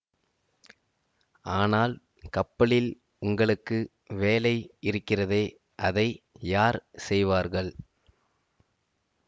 ஆனால் கப்பலில் உங்களுக்கு வேலை இருக்கிறதே அதை யார் செய்வார்கள்